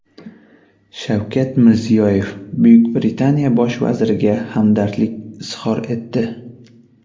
Shavkat Mirziyoyev Buyuk Britaniya bosh vaziriga hamdardlik izhor etdi.